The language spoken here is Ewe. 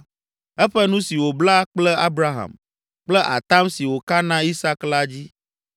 Eƒe nu si wòbla kple Abraham, kple atam si wòka na Isak la dzi.